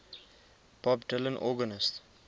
bob dylan organist